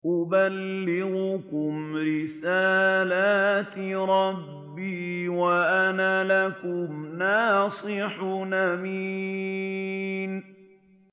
أُبَلِّغُكُمْ رِسَالَاتِ رَبِّي وَأَنَا لَكُمْ نَاصِحٌ أَمِينٌ